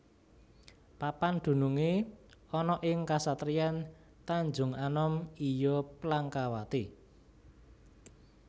Papan dunungé ana ing kasatriyan Tanjunganom iya Plangkawati